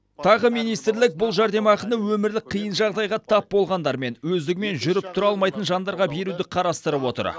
тағы министрлік бұл жәрдемақыны өмірлік қиын жағдайға тап болғандар мен өздігімен жүріп тұра алмайтын жандарға беруді қарастырып отыр